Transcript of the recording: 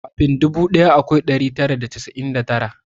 Kamin dubu daya akwai dari tara da casa'in da tara